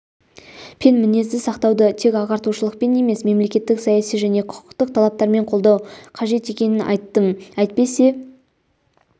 пен мінезді сақтауды тек ағартушылықпен емес мемлекеттік-саяси және құқықтық талаптармен қолдау қажет екенін айттым әйтпесе